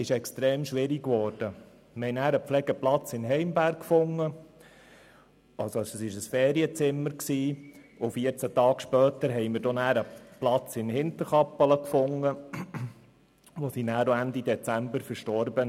Wir fanden damals einen Pflegeplatz in Heimberg, also ein Ferienzimmer, und 14 Tage später fanden wir einen Platz in Hinterkappelen, wo sie dann Ende Dezember verstarb.